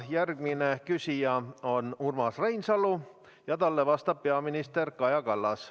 Järgmine küsija on Urmas Reinsalu ja talle vastab peaminister Kaja Kallas.